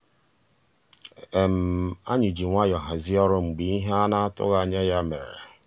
ànyị́ jì nwayọ́ọ̀ hàzíé ọ́rụ́ mgbeé íhé á ná-àtụ́ghị́ ànyá yá mérè.